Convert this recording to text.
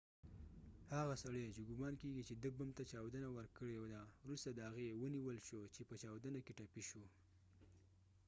هغه سړی چې ګمان کېږی چې د بم ته یې چاودنه ورکړي ده وروسته د هغې و نیول شو چې په چاودنه کې ټپی شو